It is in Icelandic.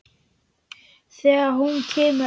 Þegar hún kemur aldrei aftur.